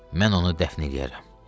Mən onu dəfn eləyərəm.